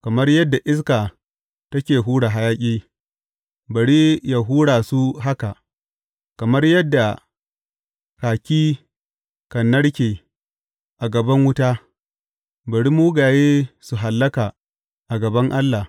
Kamar yadda iska take hura hayaƙi, bari yă hura su haka; kamar yadda kaki kan narke a gaban wuta, bari mugaye su hallaka a gaban Allah.